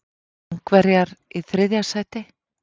Ungverjar í þriðja sæti?